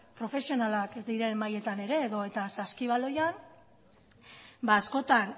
profesionalak diren mailetan ere edota saskibaloian askotan